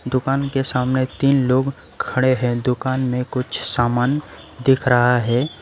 दुकान के सामने तीन लोग खड़े हैं दुकान में कुछ सामान दिख रहा है।